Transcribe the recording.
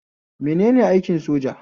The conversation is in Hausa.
Menene aikin soja?